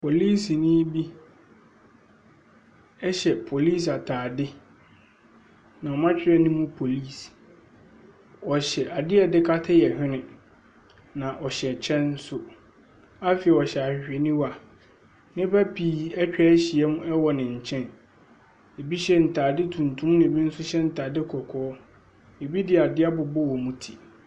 Polisini bi ɛhyɛ polisi ataade. Na ɔmo atwerɛ anim polis. Ɔhyɛ adeɛ a yɛde kata yɛn hwene. Na ɔhyɛ kyɛ nso. Afei ɔhyɛ ahwehwɛniwa. Nnipa pii etwa ahyia ɛwɔ ne nkyɛn. Ebi hyɛ ntaade tuntum na ebi nso hyɛ ntaade kɔkɔɔ. Ebi de adeɛ abobɔ wɔn mo ti.